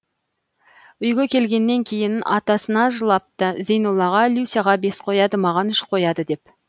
үйге келгеннен кейін атасына жылапты зейноллаға люсяға бес қояды маған үш қояды деп